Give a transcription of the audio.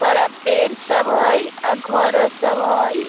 बड़ा पेड़ सब हई अ घरो सब हई।